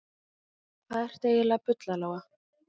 Hvað ertu eiginlega að bulla, Lóa Lóa?